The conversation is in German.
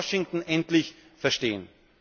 Das muss Washington endlich verstehen.